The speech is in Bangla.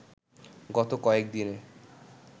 গত কয়েকদিনে